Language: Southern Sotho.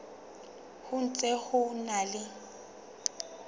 ho ntse ho na le